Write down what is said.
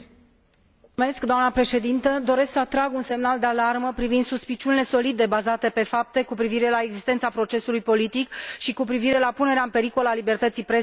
Domnule președinte, doresc să trag un semnal de alarmă privind suspiciunile solide, bazate pe fapte, cu privire la existența procesului politic și cu privire la punerea în pericol a libertății presei în țara mea.